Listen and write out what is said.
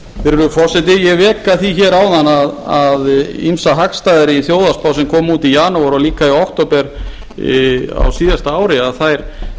virðulegi forseti ég vék að því áðan að ýmsar hagstæður eru í þjóðhagsspá sem kom út í janúar og líka í október á síðasta ári þær